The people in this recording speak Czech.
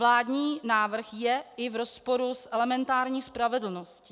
Vládní návrh je i v rozporu s elementární spravedlností.